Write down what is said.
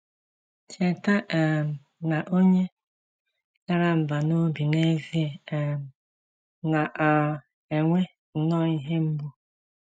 Cheta um na onye dara mbà n’obi n’ezie um na um - enwe nnọọ ihe mgbu.